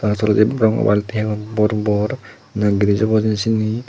ar tolendi balti degong bor bor na gris obo hijeni siyani.